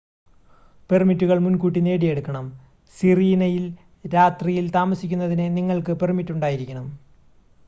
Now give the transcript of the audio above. പെർമിറ്റുകൾ മുൻകൂട്ടി നേടിയെടുക്കണം സിറീനയിൽ രാത്രിയിൽ താമസിക്കുന്നതിന് നിങ്ങൾക്ക് പെർമിറ്റ് ഉണ്ടായിരിക്കണം